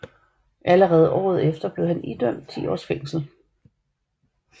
Allerede året efter blev han idømt ti åres fængsel